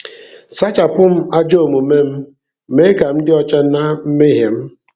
Sachapụ m ajọ omume m, mee ka m dị ọcha na mmehie m.